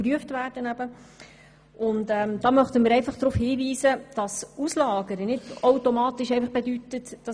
Eine Auslagerung bedeutet jedoch nicht automatisch, dass etwas billiger wird.